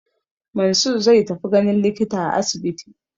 Mansur zai tafi ganin likita a asibiti.